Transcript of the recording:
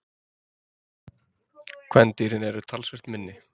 kvendýrin eru talsvert minni